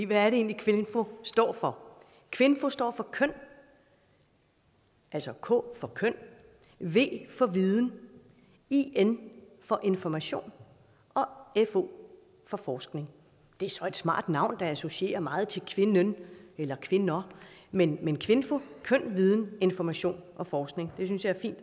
hvad er det egentlig kvinfo står for kvinfo står for køn altså k for køn v for viden in for information og fo for forskning det er så et smart navn der associerer meget til kvinden eller kvinder men men kvinfo køn viden information og forskning det synes jeg